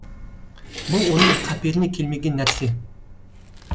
бұл оның қаперіне келмеген нәрсе